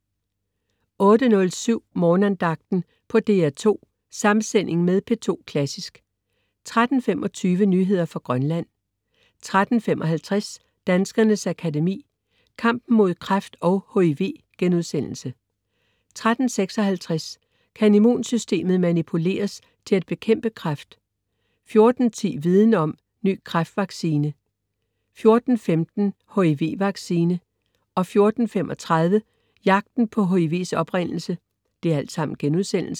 08.07 Morgenandagten på DR2. Samsending med P2 Klassisk 13.25 Nyheder fra Grønland 13.55 Danskernes Akademi: Kampen mod kræft og HIV* 13.56 Kan immunsystemet manipuleres til at bekæmpe kræft?* 14.10 Viden Om; Ny kræftvaccine* 14.15 HIV vaccine* 14.35 Jagten på HIV's oprindelse*